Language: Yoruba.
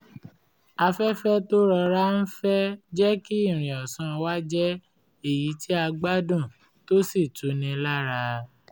afẹ́fẹ́ tó ń rọra fẹ́ jẹ́ kí ìrìn ọ̀sán wa jẹ́ èyí tí a um gbádùn tó um sì tuni lára